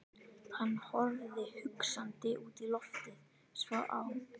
Hann horfði hugsandi út í loftið, svo á